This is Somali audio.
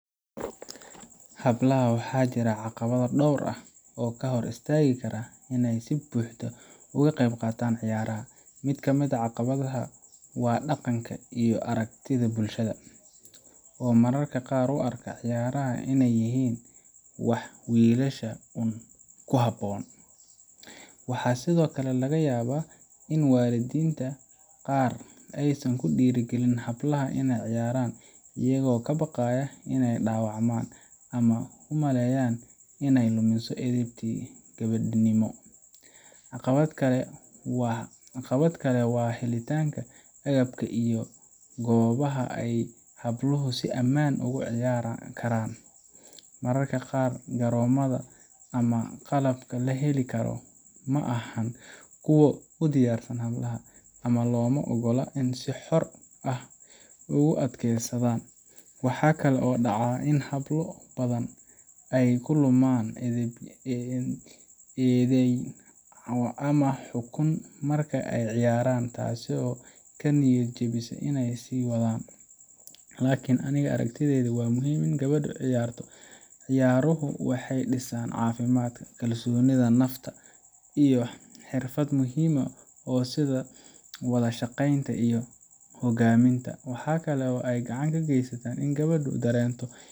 Hablaha waxaa jira caqabado dhowr ah oo ka hor istaagi kara inay si buuxda uga qaybqaataan ciyaaraha. Mid ka mid ah caqabadaha waa dhaqanka iyo aragtida bulshada, oo mararka qaar u arka ciyaaraha inay yihiin wax wiilasha uun ku habboon. Waxaa sidoo kale laga yaabaa in waalidiinta qaar aysan ku dhiirrigelin hablaha inay ciyaaraan, iyagoo ka baqaya in ay dhaawacmaan, ama u malaynaya in ay lumiso edebtii gabadhnimo. Caqabad kale waa helitaanka agabka iyo goobaha ay habluhu si ammaan ah ugu ciyaari karaan. Mararka qaar, garoomada ama qalabka la heli karo ma ahan kuwo u diyaarsan hablaha, ama looma ogola inay si xor ah ugu adeegsadaan. Waxa kale oo dhacda in hablo badan ay la kulmaan eedayn ama xukun marka ay ciyaarayaan, taasoo ka niyad jebisa in ay sii wadaan. Laakiin aniga aragtideyda, waa muhiim in gabadhu ciyaarto. Ciyaaruhu waxay dhisaan caafimaadka, kalsoonida nafta, iyo xirfado muhiim ah sida wada shaqeynta iyo hoggaaminta. Waxa kale oo ay gacan ka geystaan in gabadhu dareento.